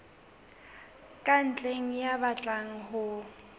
ka ntle ya batlang ho